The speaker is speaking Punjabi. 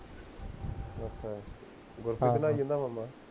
ਅੱਛਾ ਗੁਰਪ੍ਰੀਤ ਨਹੀ ਜਾਂਦਾ ਓਦੋਂ ਦਾ